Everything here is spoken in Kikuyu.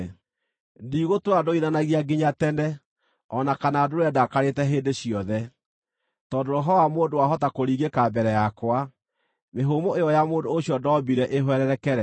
Ndigũtũũra ndũithanagia nginya tene, o na kana ndũũre ndakarĩte hĩndĩ ciothe, tondũ roho wa mũndũ wahota kũringĩka mbere yakwa, mĩhũmũ ĩyo ya mũndũ ũcio ndoombire ĩhwererekere.